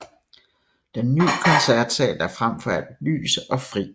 Den nye Koncertsal er frem for alt lys og fri